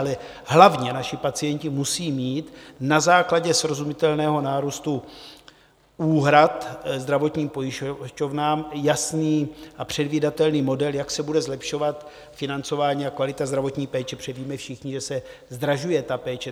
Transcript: Ale hlavně naši pacienti musí mít na základě srozumitelného nárůstu úhrad zdravotním pojišťovnám jasný a předvídatelný model, jak se bude zlepšovat financování a kvalita zdravotní péče, protože víme všichni, že se zdražuje ta péče.